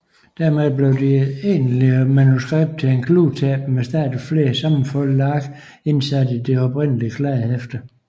Derved blev det egentlige manuskript til et kludetæppe med stadig flere sammenfoldede ark indsat i det oprindelige kladdehæfte